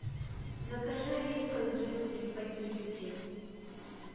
закажи вискас жидкий в пакетике